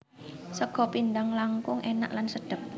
Sega pindhang langkung enak lan sedep